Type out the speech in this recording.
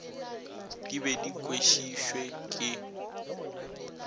di be di kwešišwe ke